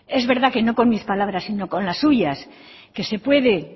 es verdad que no con mis palabras sino con las suyas que se puede